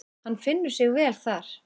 Hann finnur sig vel þar.